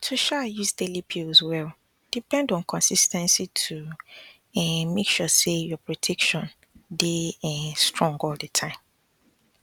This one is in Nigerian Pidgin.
to um use daily pills well depend on consis ten cy to um make sure say your protection dey um strong all the time